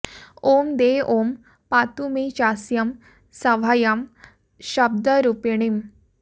ॐ दे ॐ पातु मे चास्यं सभायां शब्दरूपिणीम्